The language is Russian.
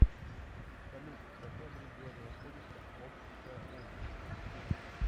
салют в каком регионе находится ошская область